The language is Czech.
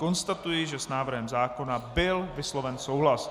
Konstatuji, že s návrhem zákona byl vysloven souhlas.